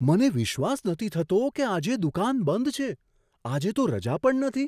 મને વિશ્વાસ નથી થતો કે આજે દુકાન બંધ છે! આજે તો રજા પણ નથી.